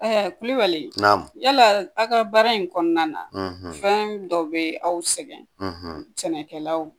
Ɛɛ kulibali nam yala a ka baara in kɔnɔna na fɛn dɔ be aw sɛgɛn sɛnɛkɛlaw